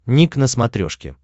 ник на смотрешке